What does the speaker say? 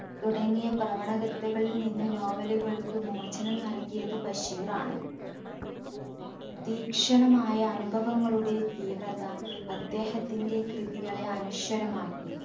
തുടങ്ങിയ പ്രവണകഥകളിൽ നിന്ന് novel കൾക്ക് മോചനം നൽകിയത് ബഷീറാണ് തീക്ഷണമായ അനുഭവങ്ങളുടെ തീവ്രത അദ്ദേഹത്തിന്റെ കൃതികളെ അനശ്വരമാക്കി